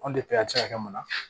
Anw a bɛ se ka kɛ mun na